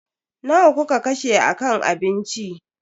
Nawa kuka kashe a kan abinci?